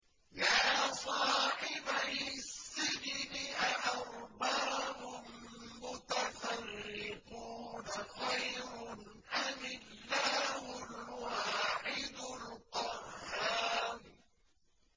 يَا صَاحِبَيِ السِّجْنِ أَأَرْبَابٌ مُّتَفَرِّقُونَ خَيْرٌ أَمِ اللَّهُ الْوَاحِدُ الْقَهَّارُ